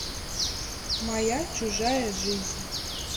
моя чужая жизнь